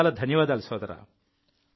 చాలా చాలా ధన్యవాదాలు సోదరా